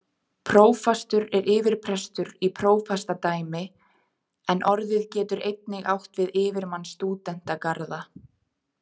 Prófastur er yfirprestur í prófastsdæmi, en orðið getur einnig átt við yfirmann stúdentagarða.